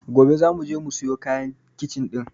Gobe zamu je mu siyo kayan kicin ɗin.